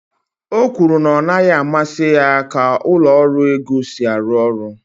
o kwuru na ọ naghị amasị ya ka ụlọ ọrụ ego si arụ ọrụ